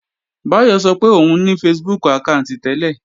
Báyọ̀ sọ pé òun ní Facebook àkáànti tẹ́lẹ̀